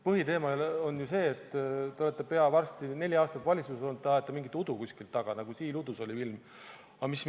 Põhiteema on see, et te olete varsti peaaegu neli aastat valitsuses olnud, ajate mingit udu kuskilt taga, nagu oli filmis "Siil udus".